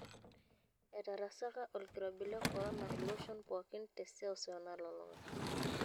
Etarasaka olkirobi le kororna iloshon pookin te seseu nalulung'a.